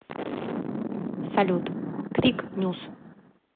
салют крик нюс